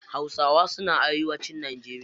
Hausawa suna arewacin najeriya.